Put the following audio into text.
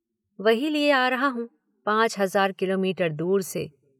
वही लिए आ रहा हूँ पाँच हज़ार किलोमीटर दूर से।